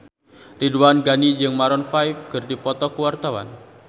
Ridwan Ghani jeung Maroon 5 keur dipoto ku wartawan